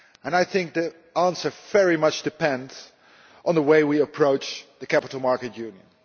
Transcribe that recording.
I think the answer very much depends on the way we approach the capital markets union.